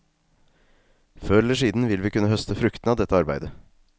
Før eller siden vil vi kunne høste fruktene av dette arbeidet.